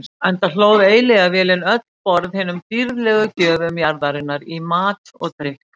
Enda hlóð eilífðarvélin öll borð hinum dýrðlegu gjöfum jarðarinnar í mat og drykk.